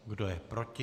Kdo je proti?